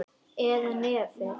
Eða nefið of hvasst.